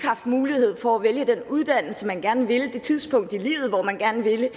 haft mulighed for at vælge den uddannelse man gerne ville det tidspunkt i livet hvor man gerne ville